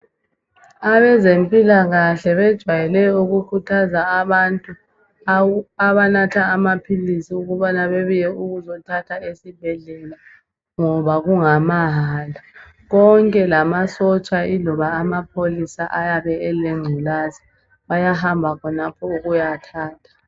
Abezempilakahle bejayele ukukhuthaza abantu abanatha amaphilisi ukubana bebuye ukuzothatha esibhedlela ngoba kungamahala konke lamasotsha iloba amapholisa ayabe elengculaza bayahamba khonapho ukuyathatha.